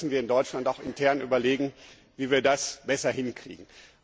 Da müssen wir in Deutschland auch intern überlegen, wie wir das besser hinkriegen.